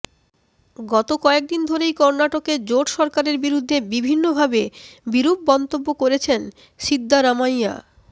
গত কয়েকদিন ধরেই কর্ণাটকে জোট সরকারের বিরুদ্ধে বিভিন্নভাবে বিরূপ মন্তব্য করছেন সিদ্দারামাইয়া